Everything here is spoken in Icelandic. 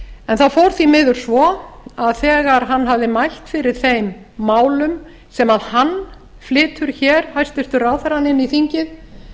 en það fór því miður svo að þegar hann hafði mælt fyrir þeim málum sem hann flytur hér hæstvirtur ráðherrann inn í þingið